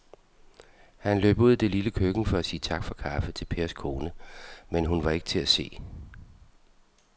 Han løb ud i det lille køkken for at sige tak for kaffe til Pers kone, men hun var ikke til at se.